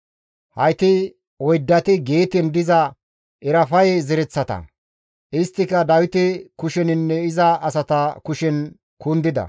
Hayti oyddati Geeten diza Erafaye zereththata; isttika Dawite kusheninne iza asata kushen kundida.